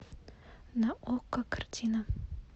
на окко картина